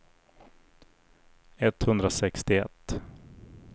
etthundrasextioett